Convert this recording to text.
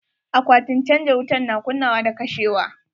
Akwatin canja wutan na kunnawa da kashewa.